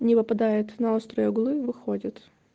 не выпадает на острые углы выходит